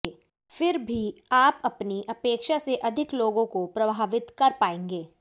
फिर भी आप अपनी अपेक्षा से अधिक लोगों को प्रभावित कर पाएंगे